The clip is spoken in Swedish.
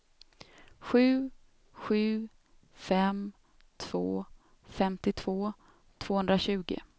sju sju fem två femtiotvå tvåhundratjugo